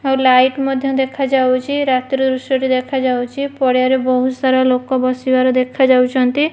ଆଉ ଲାଇଟ ମଧ୍ୟ ଦେଖାଯାଉଛି ରାତି ର ଦୃଶ୍ୟ ଟି ଦେଖାଯାଉଚି ପଡ଼ିଆ ରେ ବହୁତ ସାରା ଲୋକ ବସିବାର ଦେଖାଯାଉଛନ୍ତି।